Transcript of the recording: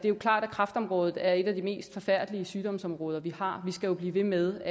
er klart at kræftområdet er et af de mest forfærdelige sygdomsområder vi har vi skal jo blive ved med